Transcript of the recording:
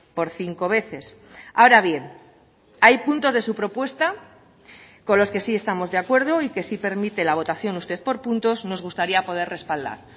por cinco veces ahora bien hay puntos de su propuesta con los que sí estamos de acuerdo y que si permite la votación usted por puntos nos gustaría poder respaldar